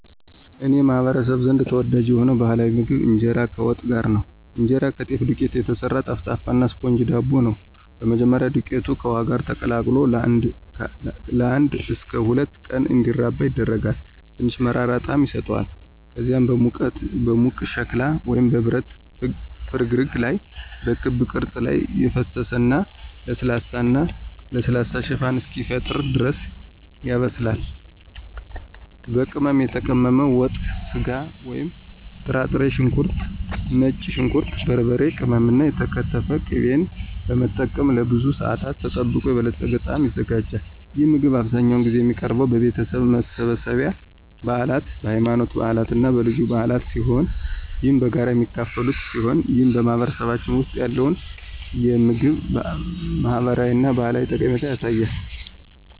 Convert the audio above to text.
በእኔ ማህበረሰብ ዘንድ ተወዳጅ የሆነው ባህላዊ ምግብ ኢንጄራ ከዋት ጋር ነው። እንጀራ ከጤፍ ዱቄት የተሰራ ጠፍጣፋ እና ስፖንጅ ዳቦ ነው። በመጀመሪያ, ዱቄቱ ከውሃ ጋር ተቀላቅሎ ለአንድ እስከ ሁለት ቀናት እንዲራባ ይደረጋል, ትንሽ መራራ ጣዕም ይሰጠዋል. ከዚያም በሙቅ ሸክላ ወይም በብረት ፍርግርግ ላይ በክብ ቅርጽ ላይ ፈሰሰ እና ለስላሳ እና ለስላሳ ሽፋን እስኪፈጠር ድረስ ያበስላል. ዋት፣ በቅመም የተቀመመ ወጥ ስጋ ወይም ጥራጥሬ፣ ሽንኩርት፣ ነጭ ሽንኩርት፣ በርበሬ ቅመም እና የተከተፈ ቅቤን በመጠቀም ለብዙ ሰአታት ተጠብቆ የበለፀገ ጣዕም ይዘጋጃል። ይህ ምግብ አብዛኛውን ጊዜ የሚቀርበው በቤተሰብ መሰብሰቢያ፣ በበዓላት፣ በሃይማኖታዊ በዓላት እና በልዩ በዓላት ሲሆን ይህም በጋራ የሚካፈሉበት ሲሆን ይህም በማህበረሰባችን ውስጥ ያለውን የምግብ ማህበራዊ እና ባህላዊ ጠቀሜታ ያሳያል።